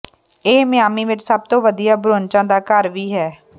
ਇਹ ਮਿਆਮੀ ਵਿੱਚ ਸਭ ਤੋਂ ਵਧੀਆ ਬ੍ਰੁੰਚਾਂ ਦਾ ਘਰ ਵੀ ਹੈ